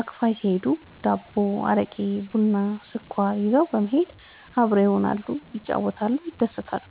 አክፋይ ሲሄዱ ዳቦ፣ አረቄ፣ ቡና፣ ስኳር ይዘው በመሄድ አብረው ይሆናሉ፣ ይጫወታሉ፣ ይደሰታሉ።